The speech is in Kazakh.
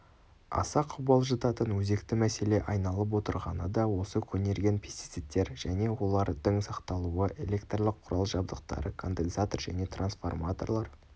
аса қобалжытатын өзекті мәселе айналып отырғаны да осы көнерген пестицидтер және олардың сақталуы электрлік құрал-жабдықтары конденсатор және трансформаторлар